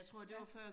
Ja